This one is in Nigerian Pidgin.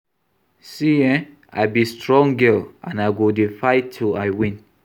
See eh, I be strong girl and I go dey fight till I win